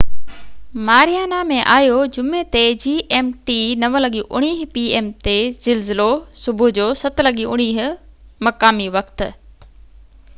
زلزلو صبح جو 07:19 مقامي وقت 09:19 p.m. gmt جمعي تي ماريانا ۾ آيو